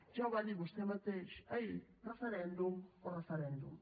ja ho va dir vostè mateix ahir referèndum o referèndum